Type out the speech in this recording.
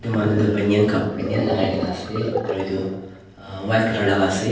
manu tu banain ka banain lakai kaena ase aro edu white colour laka ase.